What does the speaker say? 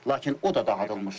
Lakin o da dağıdılmışdır.